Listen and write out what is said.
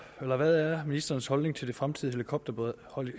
er hvad er ministerens holdning til det fremtidige